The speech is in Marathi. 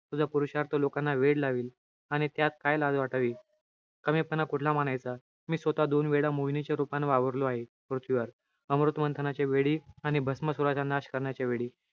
तुझा पुरुषार्थ लोकांना वेड लावेल. आणि त्यात काय लाज वाटावी? कमीपणा कुठला मानायचा? मी स्वतः दोन वेळा मोहिनीच्या रूपानं वावरलो आहे पृथ्वीवर. अमृत मंथनाच्या वेळी, आणि भस्मासुराचा नाश करण्याच्या वेळी.